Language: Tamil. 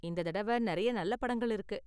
இந்த தடவ நெறைய நல்ல படங்கள் இருக்கு.